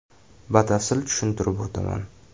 Batafsil tushuntirib o‘taman.